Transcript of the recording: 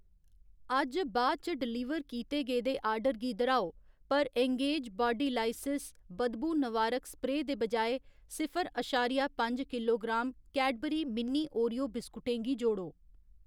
अज्ज बाद च डलीवर कीते गेदे आर्डर गी दर्‌हाओ पर एंगेज बाडीलाइसियस बदबू-नवारक स्प्रेऽ दे बजाए सिफर अशारिया पंज किलोग्राम कैडबरी मिनी ओरियो बिस्कुटें गी जोड़ो।